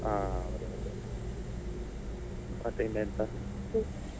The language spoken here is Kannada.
ಆ ಮತ್ತೆ ಇನ್ನೆಂತ?